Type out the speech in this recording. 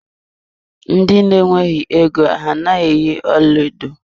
Ndị na-nweghi égo a naghị eyi ọlaedo.